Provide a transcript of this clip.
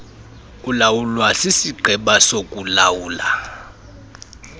ulawulwa sisigqeba sokuulawula